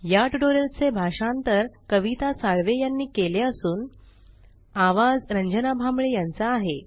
या ट्यूटोरियल चे भाषांतर कविता साळवे यानी केले असून आवाज रंजना भांबळे यांचा आहे